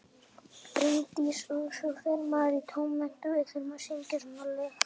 Bryndís: Og svo fer maður í tónmennt og við þurfum að syngja svona lög.